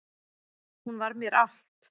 Hún var mér allt